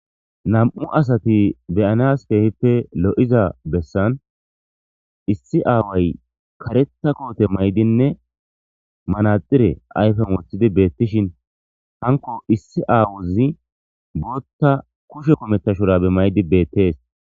Nam'u asati beyanas keehippe lo7iza bessan issi aaway karetha koote maydinne manaxire ayfen woothidi beettishin hanko issi aawozi bootta kushe kumetta shurabe maydi beettees.